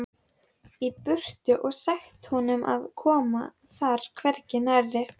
í burtu og sagt honum að koma þar hvergi nærri.